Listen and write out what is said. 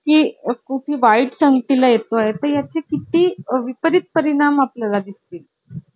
की खूप वाईट संगती ला येतो आहे. त्या ची किती विपरीत परिणाम आपल्या ला दिसतील